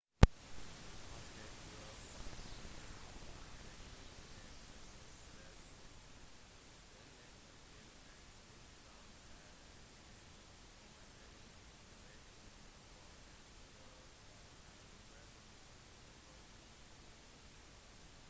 husk at du faktisk besøker et massegravsted i tillegg til et sted som har en nesten umåtelig betydning for en stor del av verdens befolkning